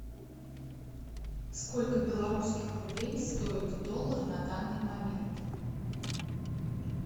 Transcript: сколько белорусских рублей стоит доллар на данный момент